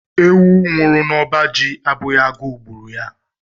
Ewu nwuru n'oba jì abụghị agu gburu ya.